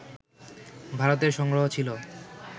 ভারতের সংগ্রহ ছিল